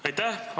Aitäh!